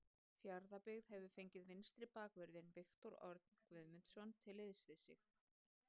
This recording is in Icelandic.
Fjarðabyggð hefur fengið vinstri bakvörðinn Viktor Örn Guðmundsson til liðs við sig.